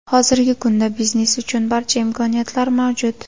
Hozirgi kunda biznes uchun barcha imkoniyatlar mavjud.